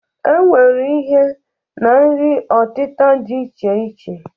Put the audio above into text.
E nwere ihe na nri ọtịta dị iche iche.